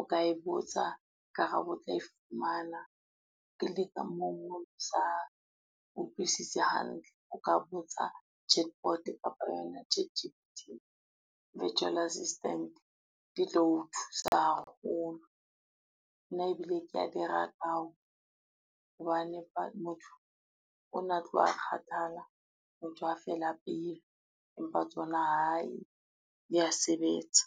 o ka e botsa karabo o tla e fumana. moo sa utlwisisi hantle, ka botsa chatbot kapa yona ChatG_P_T le virtual assistant di tlo o thusa haholo. Nna ebile kea di rata hobane motho ona tloha a kgathala a ntsa fela pelo, empa tsona hai di a sebetsa.